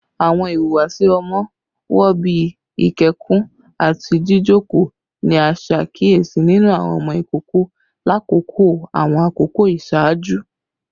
Awọn ihuwasi ọmọ wo, bii ikẹkun ati jijoko, ni a ṣe akiyesi ninu awọn ọmọ ikoko lakoko awọn akoko iṣaaju?